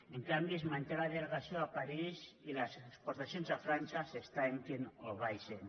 en canvi es manté la delegació a parís i les exportacions a frança s’estanquen o baixen